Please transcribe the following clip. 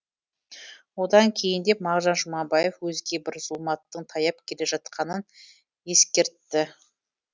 одан кейіндеп мағжан жұмабаев өзге бір зұлматтың таяп келе жатқанын ескертті